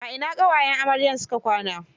A ina ƙawayen amarya su ka kwana.